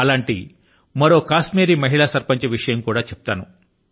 అటువంటి మరో కశ్మీరీ మహిళ సర్పంచ్ విషయం కూడా చెప్తాను